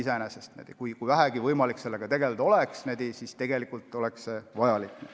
Kui vähegi oleks võimalik sellega tegeleda, siis oleks see vajalik.